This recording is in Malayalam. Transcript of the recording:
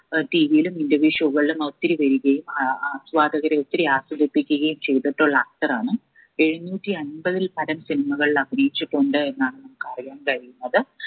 ഏർ TV യിലും interview show കള്ളും ഒത്തിരി വരികയും ആഹ് ആസ്വാദകരെ ഒത്തിരി ആസ്വദിപ്പിക്കുകയും ചെയ്തിട്ടുള്ള actor ആണ് എഴുനൂറ്റി അൻപതിൽ പരം cinema കളിൽ അഭിനയിച്ചിട്ടുണ്ട് എന്നാണ് നമുക്ക് അറിയാൻ കഴിയുന്നത്